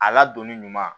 A ladonni ɲuman